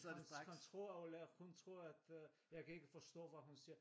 Vores kontorelev hun tror at øh jeg kan ikke forstå hvad hun siger